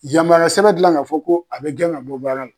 Yamaruya sɛbɛn dilan k'a fɔ ko a bɛ gɛn ka bɔ baara la.